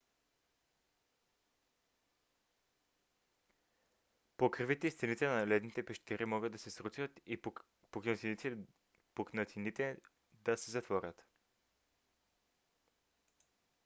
покривите и стените на ледените пещери могат да се срутят и пукнатините да се затворят